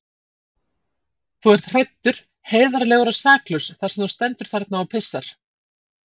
Þú ert hræddur, heiðarlegur og saklaus þar sem þú stendur þarna og pissar.